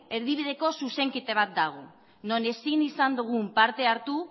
erdibideko zuzenketa bat dago non ezin izan dugun parte hartu